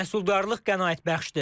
Məhsuldarlıq qənaətbəxşdir.